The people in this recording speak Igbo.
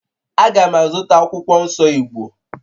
A ga m azụta akwụkwọ nsọ Igbo